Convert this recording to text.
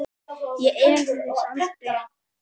Ég efaðist aldrei.